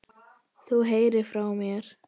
Þú heyrir frá mér.